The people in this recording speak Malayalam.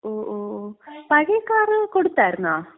ഓ ഓ ഓ. പഴയ കാറ് കൊടുത്താരുന്നോ?